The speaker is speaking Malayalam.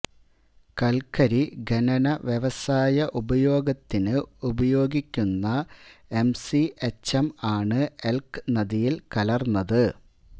കൽക്കരി ഖനന വ്യവസായ ഉപയോഗത്തിന് ഉപയോഗിക്കുന്ന എംസിഎച്ച്എം ആണ് എൽക് നദിയിൽ കലർന്നത്